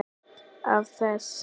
Af þess